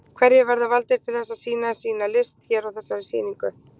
Hverjir verða valdir til þess að sýna sína list hér á þessari sýningu?